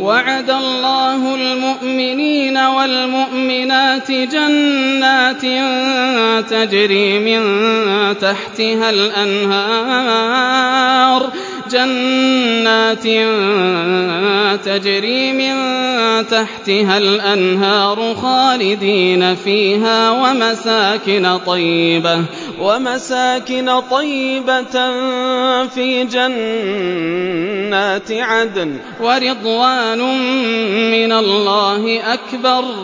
وَعَدَ اللَّهُ الْمُؤْمِنِينَ وَالْمُؤْمِنَاتِ جَنَّاتٍ تَجْرِي مِن تَحْتِهَا الْأَنْهَارُ خَالِدِينَ فِيهَا وَمَسَاكِنَ طَيِّبَةً فِي جَنَّاتِ عَدْنٍ ۚ وَرِضْوَانٌ مِّنَ اللَّهِ أَكْبَرُ ۚ